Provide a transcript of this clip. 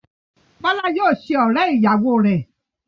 Bọ́lá yóò ṣe ọ̀rẹ́-ìyàwọ rẹ.